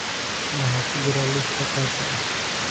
waxa ku jira liiskan gaarka ah